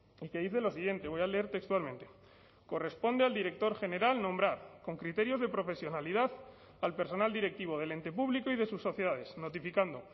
y que dice lo siguiente voy a leer textualmente corresponde al director general nombrar con criterios de profesionalidad al personal directivo del ente público y de sus sociedades notificando